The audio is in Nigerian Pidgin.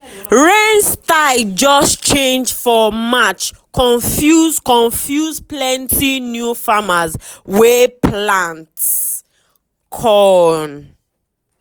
rain style just change for march confuse confuse plenty new farmers wey plant corn.